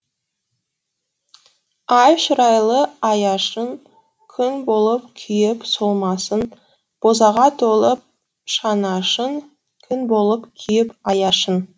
ай шырайлы аяшың күн болып күйіп солмасын бозаға толып шанашың күң болып күйіп аяшың